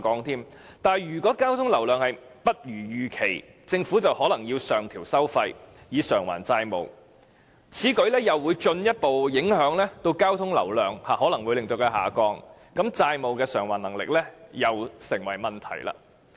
然而，如果交通流量不如預期，政府便可能要上調收費以償還債務，但此舉又可能會進一步令交通流量下降，債務償還能力又會成為問題。